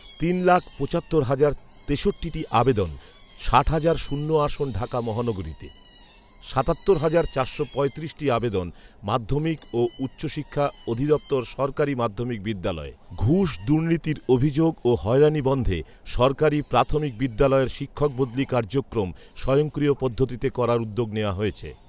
তিন লাখ পঁচাত্তর হাজার তেষট্টিটি আবেদন ষাট হাজার শূন্য আসন ঢাকা মহানগরীতে। সাতাত্তর হাজার চারশো পঁয়ত্রিশটি আবেদন মাধ্যমিক ও উচ্চশিক্ষা অধিদপ্তর সরকারি মাধ্যমিক বিদ্যালয়ে। ঘুষ দুর্নীতির অভিযোগ ও হয়রানি বন্ধে সরকারি প্রাথমিক বিদ্যালয়ের শিক্ষক বদলি কার্যক্রম স্বয়ংক্রিয় পদ্ধতিতে করার উদ্যোগ নেয়া হয়েছে।